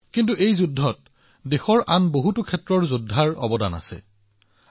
কিন্তু দেশৰ আন বহু যোদ্ধাইও এই যুঁজত এক ডাঙৰ ভূমিকা পালন কৰিছে